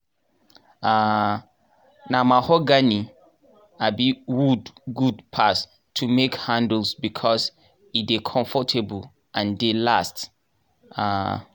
um na mahogany um wood good pass to make handless becos e dey conforable and dey last. um